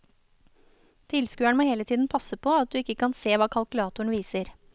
Tilskueren må hele tiden passe på at du ikke kan se hva kalkulatoren viser.